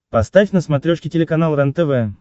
поставь на смотрешке телеканал рентв